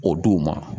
O du ma